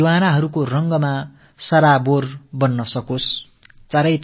தியாகிகளின் தியாகங்கள் நம் அனைவரின் கண்களையும் மனங்களையும் பனிக்கச் செய்யட்டும்